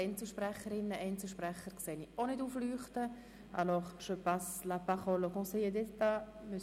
Es stehen auch keine Einzelsprecherinnen oder Einzelsprecher auf der Rednerliste.